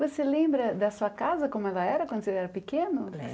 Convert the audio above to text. Você lembra da sua casa, como ela era quando você era pequeno?